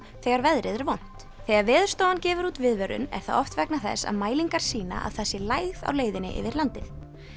þegar veðrið er vont þegar Veðurstofan gefur út viðvörun er það oft vegna þess að mælingar sýna að það sé lægð á leiðinni yfir landið